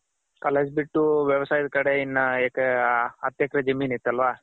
college ಬಿಟ್ಟು ವ್ಯವಸಾಯದ್ ಕಡೆ ಇನ್ನ ಹತ್ತ್ ಎಕ್ರೆ ಜಮೀನ್ ಇತ್ಹಲ್ವ .